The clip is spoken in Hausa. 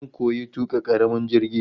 Zan koyi tuka karamin jirgi